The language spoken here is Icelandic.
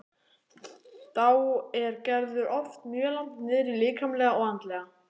Þá er Gerður oft mjög langt niðri líkamlega og andlega.